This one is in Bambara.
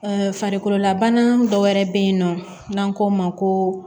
farikololabana dɔ wɛrɛ bɛ yen nɔ n'an k'o ma ko